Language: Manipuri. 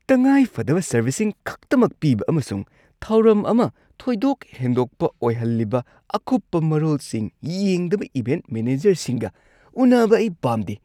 ꯇꯉꯥꯏꯐꯗꯕ ꯁꯔꯕꯤꯁꯁꯤꯡ ꯈꯛꯇꯃꯛ ꯄꯤꯕ ꯑꯃꯁꯨꯡ ꯊꯧꯔꯝ ꯑꯃ ꯊꯣꯏꯗꯣꯛ ꯍꯦꯟꯗꯣꯛꯄ ꯑꯣꯏꯍꯜꯂꯤꯕ ꯑꯀꯨꯞꯄ ꯃꯔꯣꯜꯁꯤꯡ ꯌꯦꯡꯗꯕ ꯏꯚꯦꯟꯠ ꯃꯦꯅꯦꯖꯔꯁꯤꯡꯒ ꯎꯅꯕ ꯑꯩ ꯄꯥꯝꯗꯦ꯫